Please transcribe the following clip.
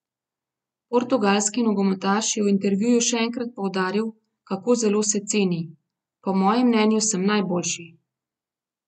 Portugalski nogometaš je v intervjuju še enkrat poudaril, kako zelo se ceni: 'Po mojem mnenju sem najboljši.